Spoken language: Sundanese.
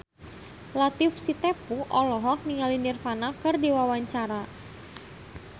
Latief Sitepu olohok ningali Nirvana keur diwawancara